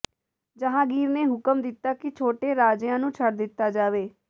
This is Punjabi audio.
ਜਹਾਂਗੀਰ ਨੇ ਹੁਕਮ ਦਿੱਤਾ ਕਿ ਛੋਟੇ ਰਾਜਿਆਂ ਨੂੰ ਛੱਡ ਦਿੱਤਾ ਜਾਵੇ